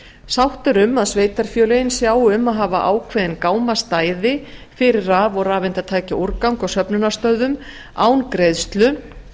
sátt er um að sveitarfélögin sjái um að hafa ákveðin gámastæði fyrir raf og rafeindatækjaúrgang á söfnunarstöðvum án greiðslu